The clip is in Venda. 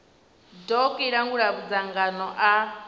doc i langula madzangano a